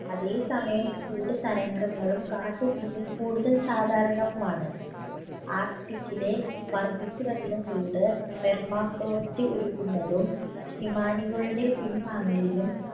അതേ സമയം ചൂട് തരംഗങ്ങളും കാട്ടുതീയും കൂടുതൽ സാധാരണവുമാണ് arctic ലെ വർധിച്ചു വരുന്ന ചൂട് thermasoft ഉരുക്കുന്നതും ഹിമാനികളുടെ പിൻവാങ്ങലിനും